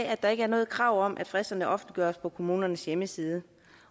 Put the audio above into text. at der ikke er noget krav om at fristerne offentliggøres på kommunernes hjemmeside